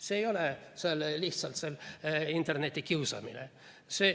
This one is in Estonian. See ei ole lihtsalt internetikiusamine.